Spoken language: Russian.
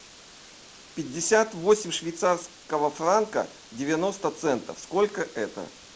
пятьдесят восемь швейцарского франка девяносто центов сколько это